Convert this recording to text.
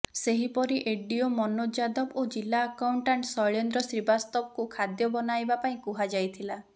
ସେହିପରି ଏଡିଓ ମନୋଜ ଯାଦବ ଓ ଜିଲ୍ଲା ଆକାଉଣ୍ଟାଣ୍ଟ୍ ଶୈଳେନ୍ଦ୍ର ଶ୍ରୀବାସ୍ତବଙ୍କୁ ଖାଦ୍ୟ ବନାଇବା ପାଇଁ କୁହା ଯାଇଥିଲା